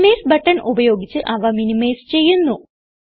minimise button ഉപയോഗിച്ച് അവ minimise ചെയ്യുന്നു